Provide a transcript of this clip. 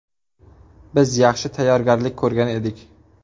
Biz yaxshi tayyorgarlik ko‘rgan edik.